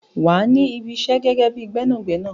Wà á ní Ibi isẹ́ gẹ́gẹ́ bíi Gbẹ́nàgbẹ́nà.